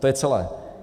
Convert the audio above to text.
To je celé.